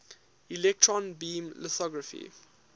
electron beam lithography